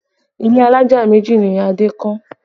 Ilé alájà méjì ni Adé kọ́